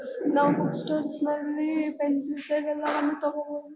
ನಾವು books store ನಲ್ಲಿ pencils ಎಲ್ಲಾನು ತಗೋಬಹುದು.